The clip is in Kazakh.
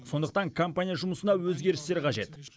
сондықтан компания жұмысына өзгерістер қажет